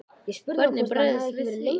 Hvernig bregðist þið við því?